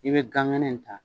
I be ganŋɛnɛ nin ta